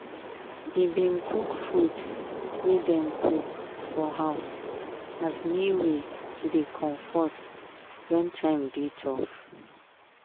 e bin cook food wey dem cook for house as new way to dey comfort wen time dey tough.